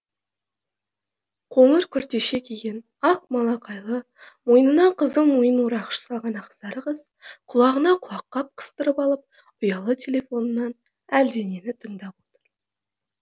қоңыр күртеше киген ақ малақайлы мойнына қызыл мойын орағыш салған ақсары қыз құлағына құлаққап қыстырып алып ұялы телефонынан әлденені тыңдап отыр